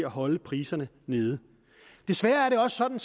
holde priserne nede desværre er det også sådan